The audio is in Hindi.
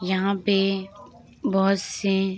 यहाँ पे बहोत से --